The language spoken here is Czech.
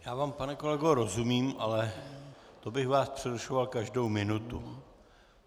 Já vám, pane kolego, rozumím, ale to bych vás přerušoval každou minutu.